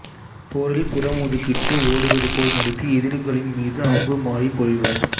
போரில் புறமுதுகிட்டு ஓடுவது போல் நடித்து எதிரிகளின் மீது அம்பு மாரி பொழிவர்